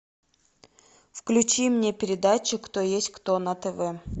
включи мне передачу кто есть кто на тв